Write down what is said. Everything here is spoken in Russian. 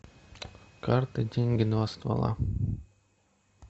карты деньги два ствола